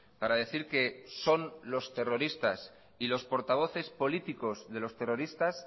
para decir que son los terroristas y los portavoces políticos de los terroristas